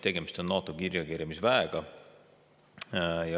Tegemist on NATO kiirreageerimisväega.